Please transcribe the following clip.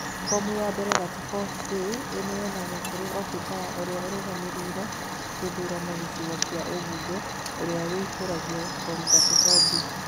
Fomu ya mbere 34A ĩneyanagwo kũrĩ obithaa ũrĩa ũrũgamĩrĩire gĩthurano gĩcigo kĩa ũmbunge ũrĩa wũihũragia fomu 34B